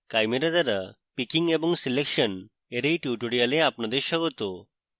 chimera দ্বারা picking এবং selection এর এই tutorial আপনাদের স্বাগত